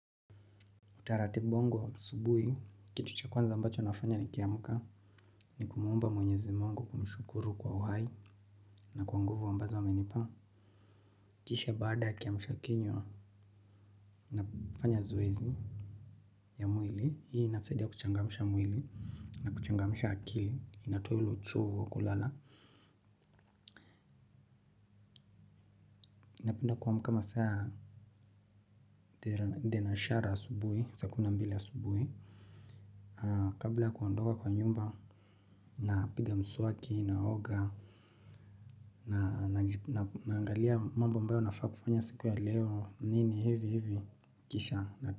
Utaratibu wango wa asubuhi, kitu cha kwanza ambacho nafanya nikiamka, ni kumuomba mwenyezi Mungu kumshukuru kwa uhai, na kwa nguvu ambazo amenipa. Kisha baada ya kiamsha kinywa, nafanya zoezi ya mwili, hii inasaidia kuchangamsha mwili, na kuchangamsha akili, inatoa ile uchovu wa kulala. Napenda kuamka masaa ya thenashara asubuhi, saa kumi na mbili asubuhi. Kabla ya kuondoka kwa nyumba, napiga mswaki, naoga. Naangalia mambo ambayo nafaa kufanya siku ya leo nini hivi hivi kisha.